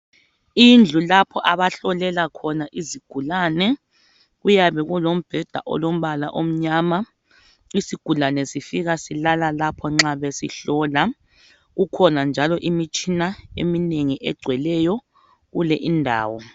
Indlu lapho abahlolela khona izigulane. Kuyabe kulombheda olombala omnyama. Isigulane sifika silala lapho nxa besihlola. Kukhona njalo imitshina eminengi egcweleyo kule indawo.